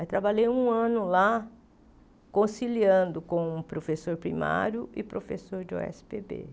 Aí trabalhei um ano lá conciliando com o professor primário e professor de ó ésse pê bê.